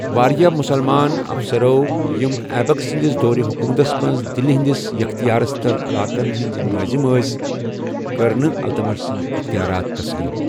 وارِیاہ مسلمان افسرو، یِم ایبک سندِس دورِ حکوٗمتس منٛز دلہِ ہِندِس یختیارس تل علاقن ہٕنٛدۍ نٲضِم ٲسۍ، کٔر نہٕ التمش سندۍ یختیارات تسلیم ۔